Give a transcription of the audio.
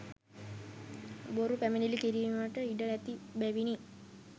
බොරු පැමිණිලි කිරීමට ඉඩ ඇති බැවිනි.